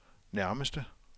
nærmeste